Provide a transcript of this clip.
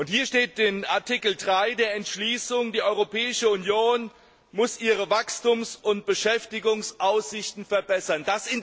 Hier steht in Ziffer 3 der Entschließung Die Europäische Union muss ihre Wachstums und Beschäftigungsaussichten verbessern.